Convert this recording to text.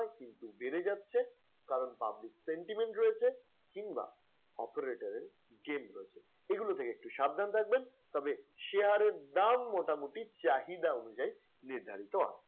কিন্তু বেড়ে যাচ্ছে কারণ public sentiment রয়েছে কিংবা operator এর রয়েছে এগুলা থেকে একটু সাবধান থাকবেন তবে share এর দাম মোটামুটি চাহিদা অনুযায়ী নির্ধারিত হয়।